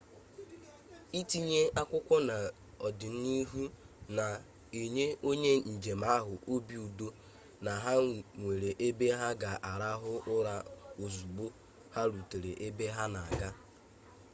itinye akwụkwọ n'ọdịnihu na-enye onye njem ahụ obi udo na ha nwere ebe ha ga-arahụ ụra ozugbo ha rutere ebe ha na-aga